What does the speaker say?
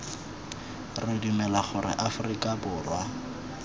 re dumela gore aforika borwa